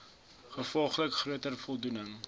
gevolglik groter voldoening